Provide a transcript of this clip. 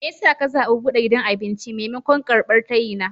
Me ya sa ka zaɓi buɗe gidan abinci maimakon karɓar tayina?